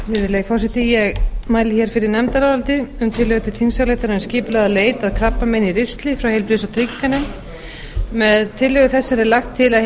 virðulegi forseti ég mæli hér fyrir nefndaráliti um tillögu til þingsályktunar um skipulagða leit að krabbameini í ristli frá heilbrigðis og trygginganefnd með tillögu þessari er lagt til að